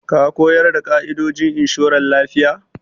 Ka ko yarda da ƙa'idojin inshoran lafiya?